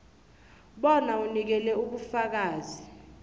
bona unikele ubufakazi